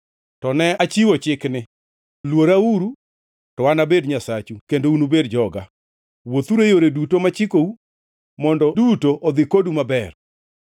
to ne achiwo chikni: Luorauru, to anabed Nyasachu kendo unubed joga. Wuothuru e yore duto machikou, mondo duto odhi kodu maber.